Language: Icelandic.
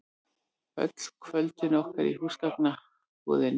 Öll kvöldin okkar í húsgagnabúðinni.